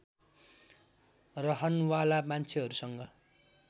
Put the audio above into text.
रहन वाला मान्छेहरूसँग